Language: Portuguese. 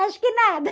Acho que nada.